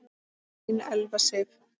Þín Elfa Sif.